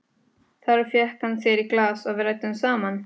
Þar fékk hann sér í glas og við ræddum saman.